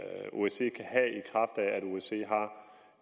osce har